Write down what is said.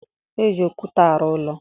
E ji okwute arụ ụlọ.